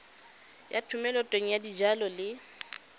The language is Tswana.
ya thomeloteng ya dijalo le